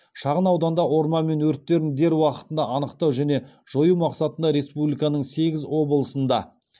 шағын ауданда орман өрттерін дер уақытында анықтау және жою мақсатында республиканың сегіз облысында